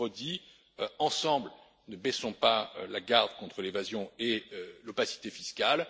Je vous le redis ensemble, ne baissons pas la garde contre l'évasion et l'opacité fiscales.